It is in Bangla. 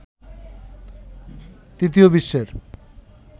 তৃতীয় বিশ্বের